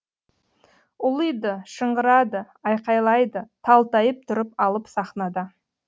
ұлиды шыңғырады айқайлайды талтайып тұрып алып сахнада